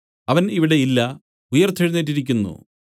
അവൻ ഇവിടെ ഇല്ല ഉയിർത്തെഴുന്നേറ്റിരിക്കുന്നു